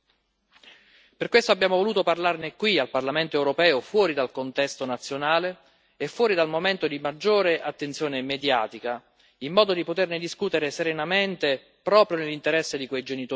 Per questo abbiamo voluto parlarne qui al Parlamento europeo, fuori dal contesto nazionale e fuori dal momento di maggiore attenzione mediatica, in modo da poterne discutere serenamente proprio nell'interesse di quei genitori preoccupati.